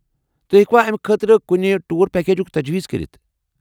تُہۍ ہٮ۪کوا امہِ خٲطرٕ کُنہِ ٹور پیکیجُك تجویز کٔرِتھ؟